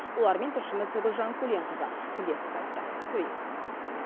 олармен тілшіміз гулжан көленқызы тілдесіп қайтты көрейік